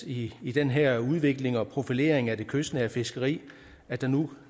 i i den her udvikling og profilering af det kystnære fiskeri at vi nu